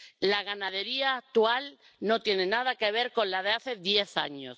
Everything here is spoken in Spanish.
La ganadería actual no tiene nada que ver con la de hace diez años.